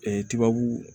tbabu